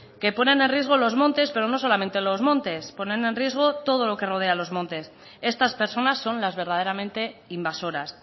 que ponen en riesgo los montes pero no solamente los montes ponen en riesgo todo lo que rodea los montes estas personas son las verdaderamente invasoras